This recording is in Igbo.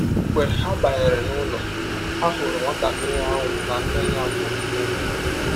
Mgbe ha banyere n’ụlọ, ha hụrụ nwatakịrị ahụ na nne ya bụ́ Meri. ”